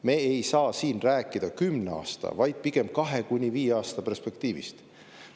Me ei saa siin rääkida kümne aasta, vaid pigem kahe kuni viie aasta perspektiivist.